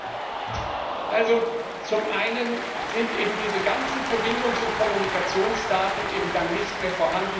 Zum einen sind eben diese ganzen Verbindungs und Kommunikationsdaten dann nicht mehr vorhanden, wenn wir diese Daten nicht haben.